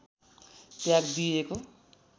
त्याग दिइएको